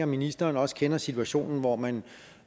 ministeren også kender situationen hvor man